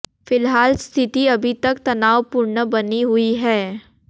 फिलहाल स्थिति अभी तक तनाव पूर्ण बनी हुई है